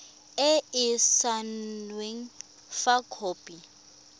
e e saenweng fa khopi